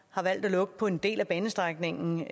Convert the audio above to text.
har valgt at lukke på en del af banestrækningen